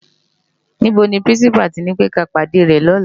NIbó ni pirinsipá to nipé ki á pádé rè lòlá?